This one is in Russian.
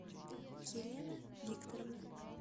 елена викторовна